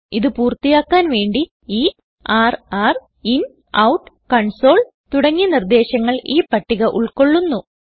ഇത് പൂർത്തിയാക്കാൻ വേണ്ടിയുള്ള ഇആർആർ ഇൻ ഔട്ട് കൺസോൾ തുടങ്ങിയ നിർദേശങ്ങൾ ഈ പട്ടിക ഉൾകൊള്ളുന്നു